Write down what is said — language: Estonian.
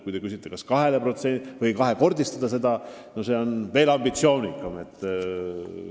Kui te küsite, kas võiks praegust summat kahekordistada, siis see on veel ambitsioonikam siht.